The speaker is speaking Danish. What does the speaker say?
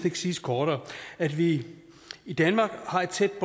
ikke siges kortere at vi i danmark har et tæt